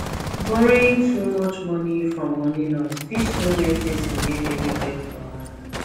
borrowing too much money from many loans fit soon make person get heavy debt wahala